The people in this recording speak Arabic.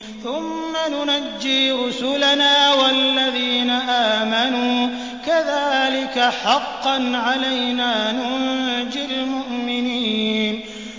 ثُمَّ نُنَجِّي رُسُلَنَا وَالَّذِينَ آمَنُوا ۚ كَذَٰلِكَ حَقًّا عَلَيْنَا نُنجِ الْمُؤْمِنِينَ